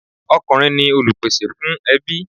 Ọkùnrin ni Olùpèsè fún ẹbí.